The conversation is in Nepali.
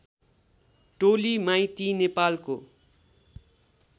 टोली माइती नेपालको